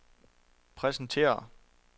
præsentere